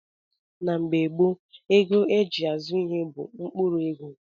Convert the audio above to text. Na mgbe gboo, ego a ji azụ ihe bụ mkpụrụ ego